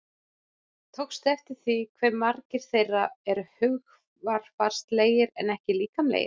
Tókstu eftir því hve margir þeirra eru hugarfarslegir en ekki líkamlegir?